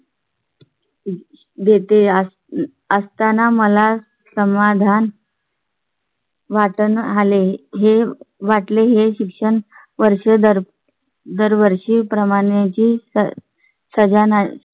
देते असताना मला समाधान . वाटाणा आले हे वाटले हे शिक्षण वर्ष दर दरवर्षी प्रमाणे ची सजणा